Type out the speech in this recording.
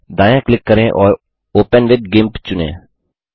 अब दायाँ क्लिक करें और ओपन विथ गिम्प चुनें